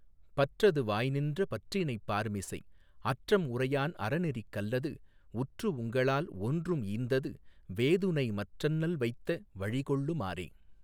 பற்றது வாய்நின்ற பற்றினைப் பார்மிசைஅற்றம் உரையான் அறநெறிக் கல்லதுஉற்று உங்களால் ஒன்றும் ஈந்தது வேதுணைமற்றண்ணல் வைத்த வழிகொள்ளு மாறே.